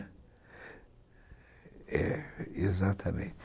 É, exatamente.